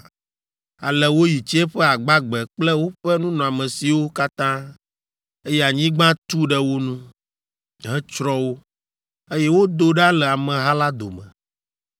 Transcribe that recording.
Ale woyi tsiẽƒe agbagbe kple woƒe nunɔamesiwo katã, eye anyigba tu ɖe wo nu, hetsrɔ̃ wo, eye wodo ɖa le ameha la dome.